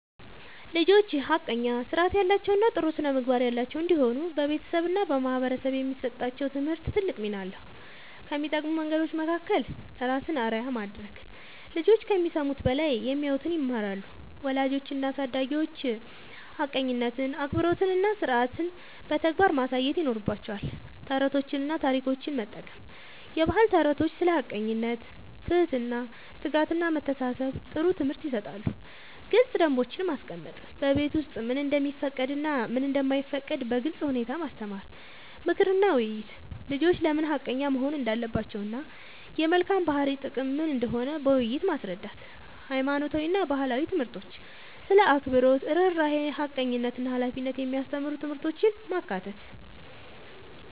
ልጆች ሐቀኛ፣ ሥርዓት ያላቸው እና ጥሩ ስነ-ምግባር ያላቸው እንዲሆኑ በቤተሰብ እና በማህበረሰብ የሚሰጣቸው ትምህርት ትልቅ ሚና አለው። ከሚጠቅሙ መንገዶች መካከል፦ ራስን አርአያ ማድረግ፦ ልጆች ከሚሰሙት በላይ የሚያዩትን ይማራሉ። ወላጆች እና አሳዳጊዎች ሐቀኝነትን፣ አክብሮትን እና ሥርዓትን በተግባር ማሳየት ይኖርባቸዋል። ተረቶችን እና ታሪኮችን መጠቀም፦ የባህል ተረቶች ስለ ሐቀኝነት፣ ትህትና፣ ትጋት እና መተሳሰብ ጥሩ ትምህርት ይሰጣሉ። ግልጽ ደንቦች ማስቀመጥ፦ በቤት ውስጥ ምን እንደሚፈቀድ እና ምን እንደማይፈቀድ በግልጽ ሁኔታ ማስተማር። ምክር እና ውይይት፦ ልጆች ለምን ሐቀኛ መሆን እንዳለባቸው እና የመልካም ባህሪ ጥቅም ምን እንደሆነ በውይይት ማስረዳት። ሃይማኖታዊ እና ባህላዊ ትምህርቶች ስለ አክብሮት፣ ርህራሄ፣ ሐቀኝነት እና ሃላፊነት የሚያስተምሩ ትምህርቶችን ማካተት።